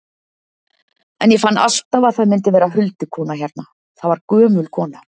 En ég fann alltaf að það myndi vera huldukona hérna, það var gömul kona.